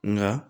Nka